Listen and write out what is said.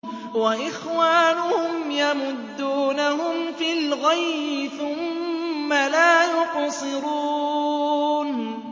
وَإِخْوَانُهُمْ يَمُدُّونَهُمْ فِي الْغَيِّ ثُمَّ لَا يُقْصِرُونَ